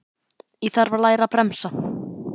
Ég þarf að læra að bremsa.